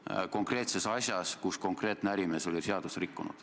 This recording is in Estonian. Seda konkreetses asjas, kus konkreetne ärimees oli seadust rikkunud.